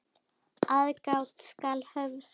Aðgát skal höfð.